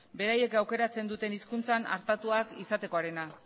beraiek aukeratzen duten hizkuntzan hartatuak izatekoarena